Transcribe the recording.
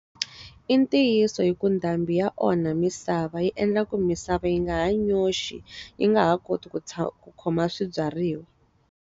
I ntiyiso hi ku ndhambi ya onha misava yi endla ku misava yi nga hanyi nyoxi, yi nga ha koti ku khoma swibyariwa.